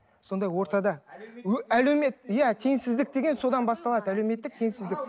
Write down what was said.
сонда ортада әлеумет иә теңсіздік деген содан басталады әлеуметтік теңсіздік